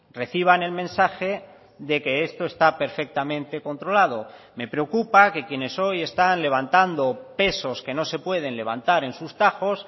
reciban el mensaje de que esto está perfectamente controlado me preocupa que quienes hoy están levantando pesos que no se pueden levantar en sus tajos